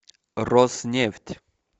роснефть